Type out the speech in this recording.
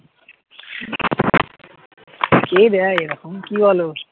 কে দেয় এরকম কি বলো